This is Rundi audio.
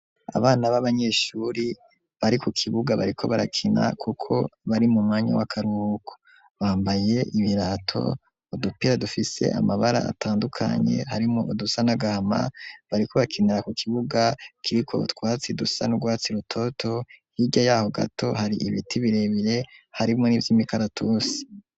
Abana b'abanyeshuri bari ku kibuga bariko barakina kuko bari mu mwanya w'akarubuko bambaye ibirato udupira dufise amabara atandukanye harimo udusa n'agahama bariko bakinira ku kibuga kiriko twatsi dusa n'urwatsi rutoto hirya yaho gato hari ibiti birebire harimo n'ivy'imikaratusi.